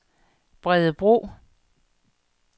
Bredebro